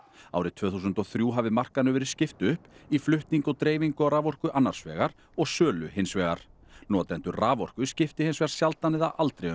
árið tvö þúsund og þrjú hafi markaðnum verið skipt upp í flutning og dreifingu á raforku annars vegar og sölu hins vegar notendur raforku skipti hins vegar sjaldan eða aldrei um